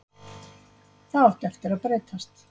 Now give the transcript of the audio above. Það átti eftir að breytast.